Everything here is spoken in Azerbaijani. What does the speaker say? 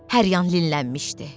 Hər yan linlənmişdi.